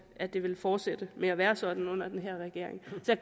at det vil fortsætte med at være sådan under den her regering så jeg